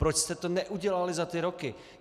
Proč jste to neudělali za ty roky?